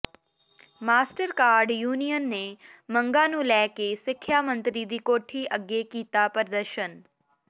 master cadre union ਨੇ ਮੰਗਾਂ ਨੂੰ ਲੈ ਕੇ ਸਿੱਖਿਆ ਮੰਤਰੀ ਦੀ ਕੋਠੀ ਅੱਗੇ ਕੀਤਾ ਪ੍ਰਦਰਸ਼ਨ